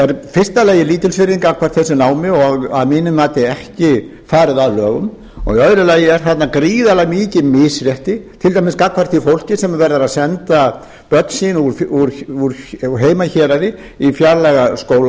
fyrsta lagi lítilsvirðing gagnvart þessu námi og að mínu mati ekki farið að lögum í öðru lagi er þarna gríðarlega mikið misrétti til dæmis gagnvart því fólki sem er að senda börn sín úr heimahéraði í fjarlæga skóla